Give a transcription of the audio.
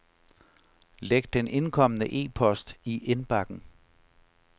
Læg den indkomne e-post i indbakken.